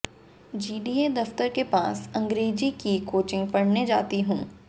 GDA दफ्तर के पास अंग्रेजी की कोचिंग पढ़ने जाती हूं